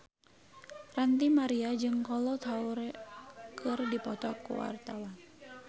Ranty Maria jeung Kolo Taure keur dipoto ku wartawan